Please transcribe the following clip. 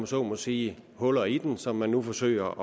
så må sige huller i den som man nu forsøger